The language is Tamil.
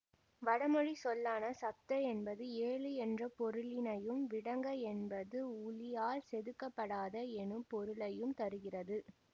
வடமொழி சொல்லான சப்த என்பது ஏழு என்ற பொருளினையும் விடங்க என்பது உளியால் செதுக்கப்படாத எனும் பொருளையும் தருகிறது